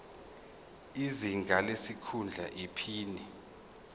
izinga lesikhundla iphini